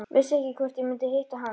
Vissi ekki hvort ég mundi hitta hann.